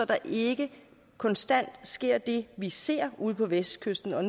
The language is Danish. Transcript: der ikke konstant sker det vi ser ude på vestkysten og